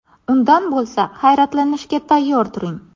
Undan bo‘lsa, hayratlanishga tayyor turing.